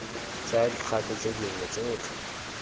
tsaya dikgato tse dingwe tsotlhe